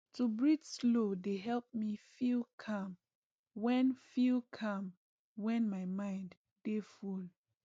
to breathe slow dey help me feel calm when feel calm when my mind dey full